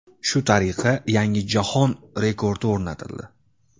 Shu tariqa, yangi jahon rekordi o‘rnatildi.